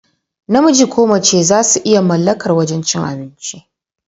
Namiji ko mace zasu iya mallakar wajan cin abinci.